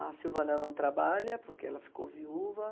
A Silvana não trabalha porque ela ficou viúva.